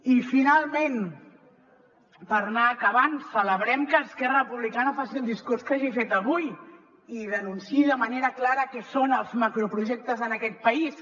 i finalment per anar acabant celebrem que esquerra republicana faci el discurs que hagi fet avui i denunciï de manera clara què són els macroprojectes en aquest país